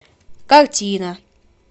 картина